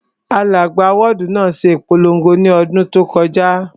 Alága wọ́ọ̀dù náà ṣe ìpolongo ní ọdún tó kọjá